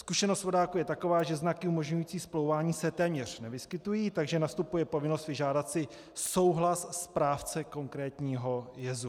Zkušenost vodáků je taková, že znaky umožňující splouvání se téměř nevyskytují, takže nastupuje povinnost vyžádat si souhlas správce konkrétního jezu.